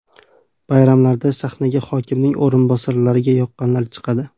Bayramlarda sahnaga hokimning o‘rinbosarlariga yoqqanlar chiqadi.